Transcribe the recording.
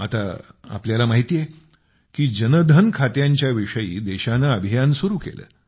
आता आपल्याला माहिती आहे की जनधन खात्यांच्या विषयी देशाने अभियान सुरू केले